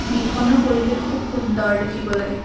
বিলখনৰ পৰিৱেশ খুব সুন্দৰ দেখিবলৈ।